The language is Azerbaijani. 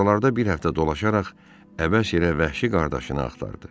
Oralarda bir həftə dolaşaraq əvəzə vəhşi qardaşını axtardı.